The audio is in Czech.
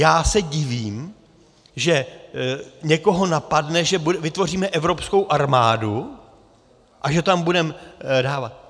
Já se divím, že někoho napadne, že vytvoříme evropskou armádu a že tam budeme dávat...